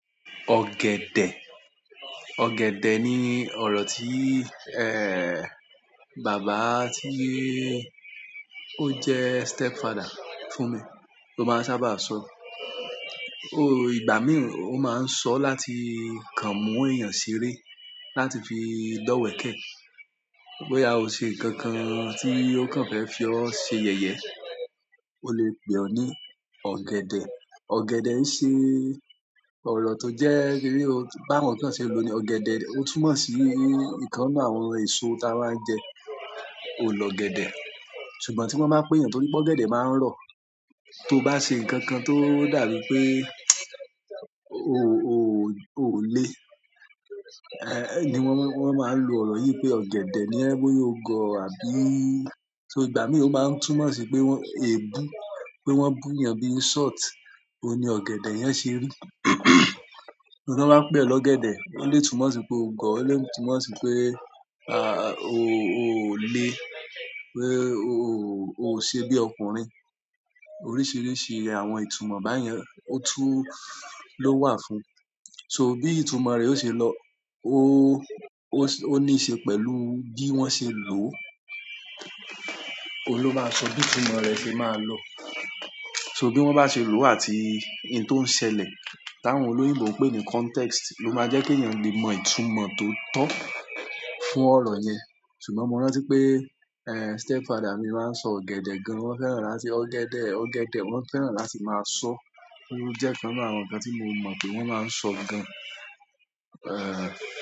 Ọ̀gẹ̀dẹ̀, ọ̀gẹ̀dẹ̀ ni oro ti baba ti o je step father fún mi ó máa ń sábà sọ ó, ìgbà mìí ó máa ń sọ láti kàn mú èèyàn ṣeré, láti fi dọ́wẹ̀kẹ̀. Boya o se nkan kan ti o ko fe fi e se yeye ó lè pè ọ ní ọ̀gẹ̀dẹ̀. Ọ̀gẹ̀dẹ̀ ń ṣe ọ̀rọ̀ tó jẹ́ pé bí o bá mọ bí wọ́n ṣe ń lo ní ọ̀gẹ̀dẹ̀, ó túmọ̀ sí nǹkan nínú, àwọn èso tí a máa ń jẹ, òun lọ́ ọ̀gẹ̀dẹ̀. Ṣùgbọ́n tí wọ́n bá pè éyan toripe ọ̀gẹ̀dẹ̀ máa ń rọ̀. Tó bá ṣe nǹkan kan tó dàbí pé o, o, o lè, ni wọ́n, wọ́n máa ń lo ọ̀rọ̀ yìí pé ọ̀gẹ̀dẹ̀ ni ẹ́ bóyá o gọ̀ àbí. So ìgbà mìíràn ó máa ń túmọ̀ sí pé wọ́n è bu, pé wọ́n bú èyàn bí i insult, òun ni ọ̀gẹ̀dẹ̀ yẹn ṣe rí. Ti wọ́n máa pè ọ lọ́gẹ̀dẹ̀. Ó lè túmọ̀ sí pé o gọ̀, ó lè túmọ̀ sí pé, a, o, o lè, pé o, o, o ṣe bí ọkùnrin. Oríṣiríṣi iyen àwọn ìtumọ̀ báyen ó tún ló wà fún. So bí ìtumọ̀ rẹ̀ ó ṣe lọ, o, o, ó níí ṣe pẹ̀lú bí wọ́n ṣe lò ó. Óun ló máa sọ bí ìtumọ̀ rẹ̀ ṣe máa lọ. So bí wọ́n bá ṣe lò ó àti ohun tó ń ṣẹlẹ̀, táwọn olóyìnbo ń pè ní context ló máa jẹ́ kí èèyàn lè mọ ìtumọ̀ tó tọ́ fún ọ̀rọ̀ yẹn. Ṣùgbọ́n mo rántí pé, eh, stepfather mi máa ń sọ ọ̀gẹ̀dẹ̀ gan. Wọ́n fẹ́ràn láti ọ̀gẹ̀dẹ̀, ọ̀gẹ̀dẹ̀ wọ́n fẹ́ràn láti máa sọ. Ó jẹ́ nǹkan nínú àwọn nkan tí mo mọ̀ pé wọ́n máa ń sọ gan. Eh.